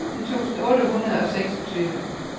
femten tusind otte hundrede og seksogtyve